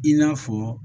I n'a fɔ